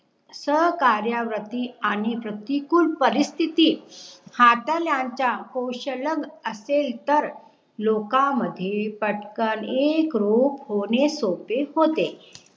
सह्कार्यव्रती आणि प्रतिकूल परिस्थिती हाताळायचं कौशल्याम असेल तर लोका मध्ये पटकन एकरूप होणे सोपे होते